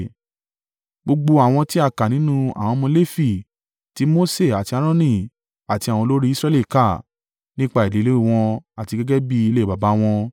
Gbogbo àwọn tí a kà nínú àwọn ọmọ Lefi, ti Mose àti Aaroni àti àwọn olórí Israẹli kà, nípa ìdílé wọn àti gẹ́gẹ́ bí ilé baba wọn.